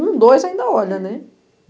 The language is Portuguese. Um, dois ainda olham, né?